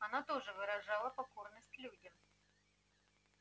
она тоже выражала покорность людям